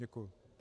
Děkuji.